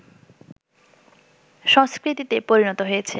সংস্কৃতিতে পরিণত হয়েছে